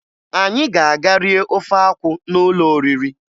Anyị ga-aga rie ofe akwụ n'ụlọ oriri